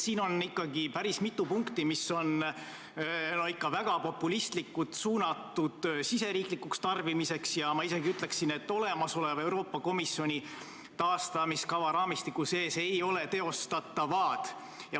Siin on päris mitu punkti, mis on ikka väga populistlikult suunatud riigisiseseks tarbimiseks, ja ma isegi ütleksin, et olemasoleva Euroopa Komisjoni taastamiskava raamistiku sees ei ole need teostatavad.